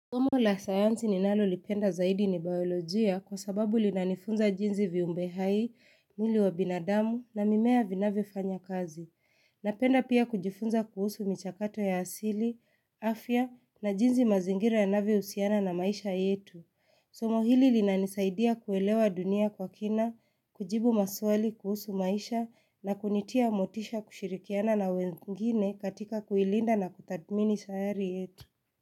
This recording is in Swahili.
Somo la sayanzi ninalolipenda zaidi ni biolojia kwa sababu linanifunza jinsi viumbe hai, mwili wa binadamu na mimea vinavyofanya kazi. Napenda pia kujifunza kuhusu michakato ya asili, afya na jinsi mazingira yanavyohusiana na maisha yetu. Somo hili linanisaidia kuelewa dunia kwa kina, kujibu maswali kuhusu maisha na kunitia motisha kushirikiana na wengine katika kuilinda na kutathmini sayari yetu.